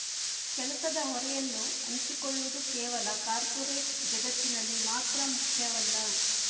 ಕೆಲಸದ ಹೊರೆಯನ್ನು ಹಂಚಿಕೊಳ್ಳುವುದು ಕೇವಲ ಕಾರ್ಪೊರೇಟ್ ಜಗತ್ತಿನಲ್ಲಿ ಮಾತ್ರ ಮುಖ್ಯವಲ್ಲ